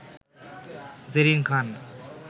Zerin Khan